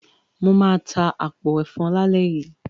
Mo máa ta àpò ẹ̀fọn lálẹ́ yìí.